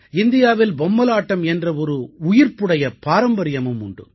இந்தியாவில் பொம்மலாட்டம் என்ற ஒரு உயிர்ப்புடைய பாரம்பரியமும் உண்டு